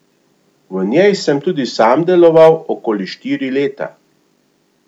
V njej sem tudi sam deloval okoli štiri leta.